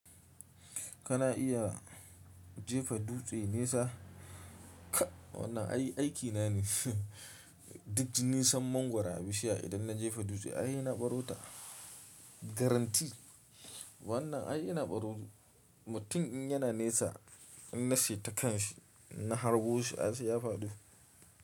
Kana iya jefa dutse nesa, wannan ai aiki na ne. Duk nisan mangwaro a bishiya idan na jefa dutse, ai sai na baro ta. Garanti. Wannan ai ina baro mutum in yana nesa, in na saita kanshi, na harbo shi, ai sai ya faɗo.